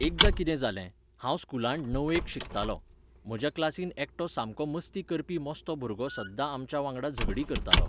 एकदां कितें जालें. हांव स्कुलांत णवेक शिकतालों. म्हाज्या क्लासीन एकटो सामको मस्ती करपी मस्तो भुरगो सद्दां आमच्या वांगडा झगडीं करतालो